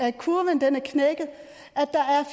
at kurven er knækket